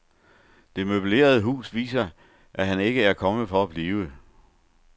Det møblerede hus viser, at han ikke er kommet for at blive.